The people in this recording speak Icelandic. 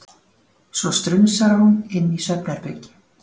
Svo strunsar hún inn í svefnherbergi.